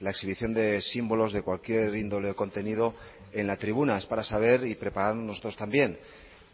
la exhibición de símbolos de cualquier índole o de contenido en la tribuna es para saber y preparar nosotros también